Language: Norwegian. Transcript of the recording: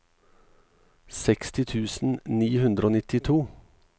seksti tusen ni hundre og nittito